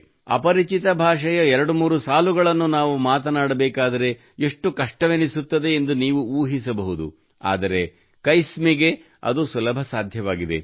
ಅಪರಿಚಿತ ಭಾಷೆಯ ಎರಡುಮೂರು ಸಾಲುಗಳನ್ನು ನಾವು ಮಾತನಾಡಬೇಕಾದರೆ ಎಷ್ಟು ಕಷ್ಟವೆನಿಸುತ್ತದೆ ಎಂದು ನೀವು ಊಹಿಸಬಹುದು ಆದರೆ ಕೈಸ್ಮಿಗೆ ಅದು ಸುಲಭ ಸಾಧ್ಯವಾಗಿದೆ